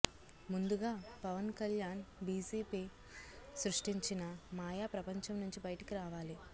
ముందుగా పవన్ కల్యాణ్ బీజేపీ సృష్టించిన మాయా ప్రపంచం నుంచి బయటకు రావాలి